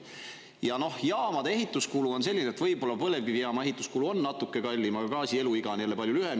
Ja noh, jaamade ehituskulu on selline, et võib-olla põlevkivijaama ehituskulu on natuke kallim, aga gaasi eluiga on jälle palju lühem.